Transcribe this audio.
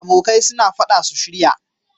Abokai suna faɗa su shirya